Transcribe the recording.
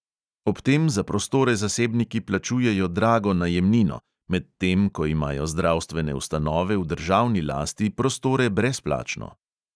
Ob tem za prostore zasebniki plačujejo drago najemnino, medtem ko imajo zdravstvene ustanove v državni lasti prostore brezplačno.